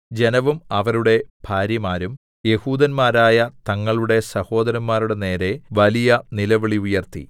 ജനവും അവരുടെ ഭാര്യമാരും യെഹൂദന്മാരായ തങ്ങളുടെ സഹോദരന്മാരുടെ നേരെ വലിയ നിലവിളി ഉയർത്തി